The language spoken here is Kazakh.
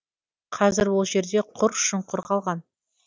қазір ол жерде құр шұңқыр қалған